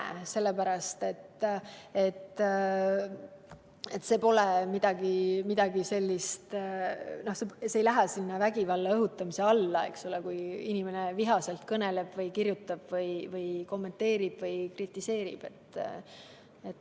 Seda sellepärast, et see ei lähe vägivalla õhutamise alla, kui inimene vihaselt kõneleb, kirjutab, kommenteerib või kritiseerib.